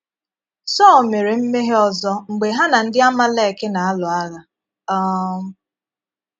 Sọl mére mmehie ọzọ́ mgbe ha na ndị Amalek na - alụ̀ àgha um.